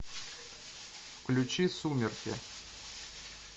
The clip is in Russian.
включи сумерки